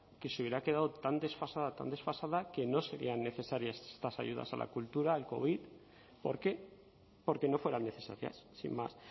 que se hubiera quedado tan desfasada tan desfasada que no serían necesarias estas ayudas a la cultura al covid por qué porque no fueran necesarias sin más